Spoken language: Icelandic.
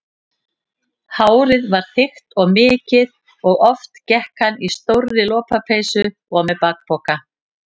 Hárið var þykkt og mikið og oft gekk hann í stórri lopapeysu og með bakpoka.